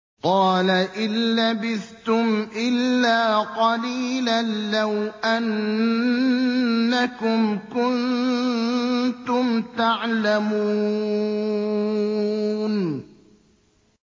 قَالَ إِن لَّبِثْتُمْ إِلَّا قَلِيلًا ۖ لَّوْ أَنَّكُمْ كُنتُمْ تَعْلَمُونَ